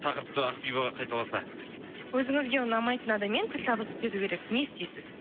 тақырыпты ақбибі қайталаса өзіңізге ұнамайтын адаммен тіл табысып кету керек не істейсіз